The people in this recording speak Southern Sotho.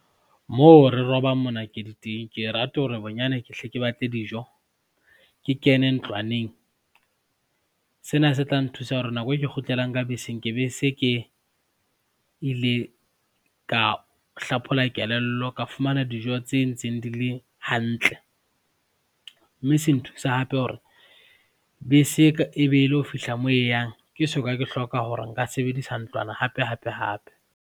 Moo re robang monakedi teng, ke e rate hore bonyane ke hle ke batle dijo, ke kene ntlwaneng, sena se tla nthusa hore nako e ke kgutlelang ka beseng ke be se ke ile ka hlaphola kelello, ka fumana dijo tse ntseng di le hantle mme se nthusa hape hore bese e be e lo fihla moo e yang ke soka ke hloka hore nka sebedisa ntlwana hape hape hape.